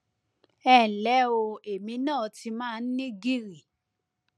ẹ nlẹ o èmi náà ti máa ń ní gìrì